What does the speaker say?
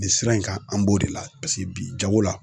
Nin sira in kan an b'o de la bi jago la.